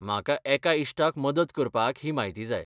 म्हाका एका इश्टाक मदत करपाक ही म्हायती जाय